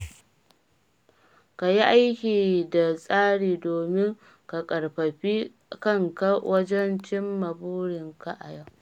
Ka yi aiki da tsari domin ka ƙarfafi kanka wajen cimma burinka a yau.